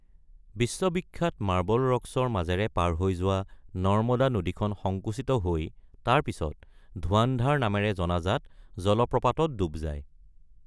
বিশ্ববিখ্যাত মাৰ্বল ৰকছৰ মাজেৰে পাৰ হৈ যোৱা নৰ্মদা নদীখন সংকুচিত হৈ তাৰ পিছত ধুৱান্ধাৰ নামেৰে জনাজাত জলপ্ৰপাতত ডুব যায়।